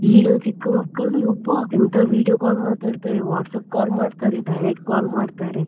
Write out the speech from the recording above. ಈಗಿನ ಚಿಕ್ಕ ಮಕ್ಕಳು ಅಬ್ಬಾ ಎಂತ video call ಮಾತಾಡ್ತಾರೆ WhatsApp call ಮಾಡ್ತಾರೆ direct call ಮಾಡ್ತಾರೆ,